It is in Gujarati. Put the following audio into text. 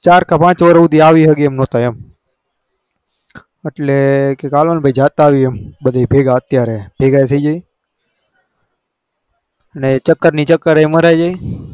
ચાર કે પાંચ વાર સુધી આવી સક એમ નાતા એટલે કે હાલો જાતે અવયે એમ બધા ભેગા ચક ની ચક મારા તા અવે